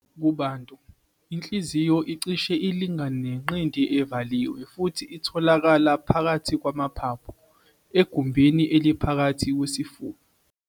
Kubantu, inhliziyo icishe ilingane nenqindi evaliwe futhi itholakala phakathi kwamaphaphu, egumbini eliphakathi kwesifuba.